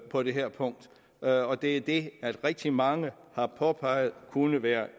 på det her punkt og det er det rigtig mange har påpeget kunne være